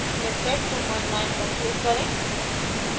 miktex29 पर click करें